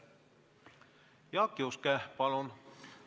Jaak Juske, palun!